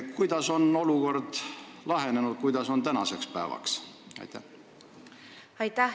Kuidas on olukord praeguseks lahenenud?